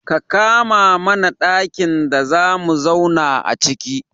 Ka kama mana ɗakin da zamu zauna aciki.